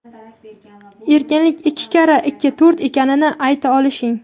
Erkinlik ikki karra ikki to‘rt ekanini ayta olishing.